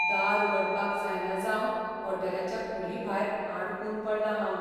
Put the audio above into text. दार उगडपाक जायना जावन हॉटेलाच्या कुडीभायर आडकून पडलां हांव.